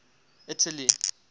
italy